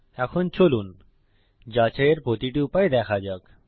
এখন চলুন যাচাইয়ের প্রতিটি উপায় দেখা যাক